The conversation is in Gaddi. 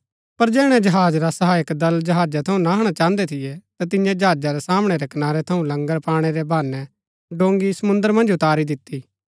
पर जैहणै जहाज रा सहायक दल जहाजा थऊँ नहणा चाहन्दै थियै ता तिन्ये जहाजा रै सामणै रै कनारै थऊँ लंगर पाणै रै बहानै डोंगी समुंद्र मन्ज उतारी दिती